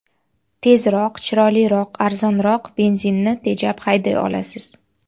Tezroq, chiroyliroq, arzonroq, benzinni tejab hayday olasiz.